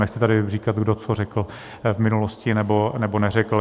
Nechci tady říkat, kdo co řekl v minulosti, nebo neřekl.